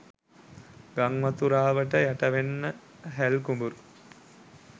ගංවතුරාවට යටවෙන හැල් කුඹුරු